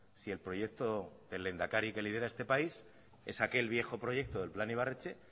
si el proyecto del lehendakari que lidera este país es aquel viejo proyecto del plan ibarretxe